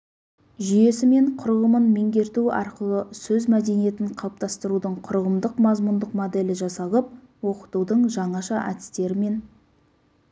жүйесі мен құрылымын меңгерту арқылы сөз мәдениетін қалыптастырудың құрылымдық-мазмұндық моделі жасалып оқытудың жаңаша әдістері мен